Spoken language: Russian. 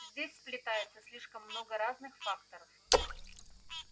здесь сплетается слишком много разных факторов